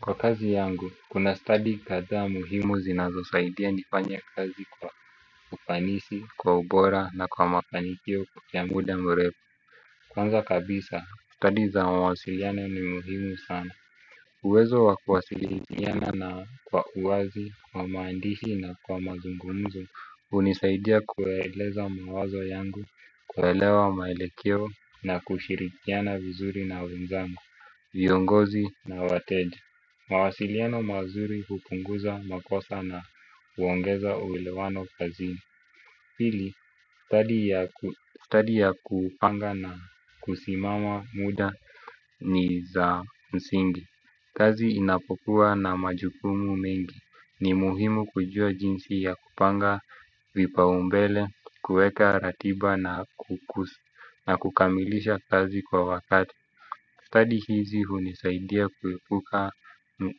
Kwa kazi yangu, kuna study kadhaa muhimu zinazosaidia nifanye kazi kwa ufanisi, kwa ubora na kwa mafanikio kwa muda mrefu. Kwanza kabisa, study za mawasiliano ni muhimu sana. Uwezo wa kuwasiliana na kwa uwazi, kwa maandishi na kwa mazungumzo, hunisaidia kueleza mawazo yangu, kuelewa maelekeo na kushirikiana vizuri na wenzangu, viongozi na wateja. Mawasiliano mazuri hupunguza makosa na huongeza uelewano kazini. Pili, study ya kupanga na kusimama muda ni za msingi. Kazi inapokuwa na majukumu mengi ni muhimu kujua jinsi ya kupanga vipaumbele, kueka ratiba na kukamilisha kazi kwa wakati. Study hizi hunisaidia kuepuka